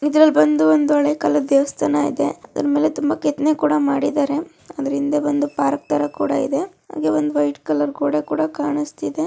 ಇದ್ರಲ್ಲಿ ಬಂದು ಒಂದು ದೇವಸ್ಥಾನ ಇದೆ ಅದರ ಮೇಲೆ ತುಂಬ ಕೆತ್ತನೆ ಮಾಡಿದ್ದಾರೆ